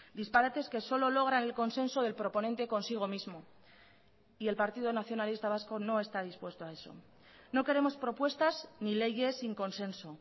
disparates que solo logran el consenso del proponente consigo mismo y el partido nacionalista vasco no está dispuesto a eso no queremos propuestas ni leyes sin consenso